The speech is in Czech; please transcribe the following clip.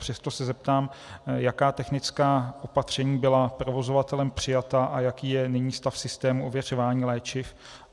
Přesto se zeptám, jaká technická opatření byla provozovatelem přijata a jaký je nyní stav systému ověřování léčiv.